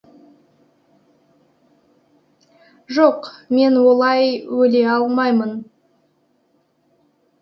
жоқ мен олай өле алмаймын